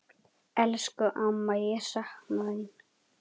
Elsku amma, ég sakna þín.